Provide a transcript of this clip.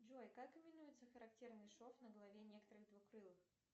джой как именуется характерный шов на голове некоторых двукрылых